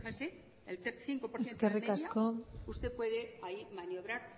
fíjense el cinco por ciento de la media usted puede ahí maniobrar